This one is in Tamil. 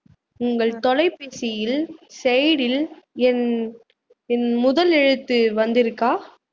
உங்கள் தொலைபேசியில் side ல் என் என் முதல் எழுத்து வந்திருக்கா